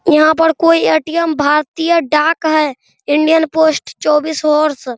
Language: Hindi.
यहाँ पर कोई ए.टी.एम. भारतीय डाक है इंडियन पोस्ट चौबीस होर्स ।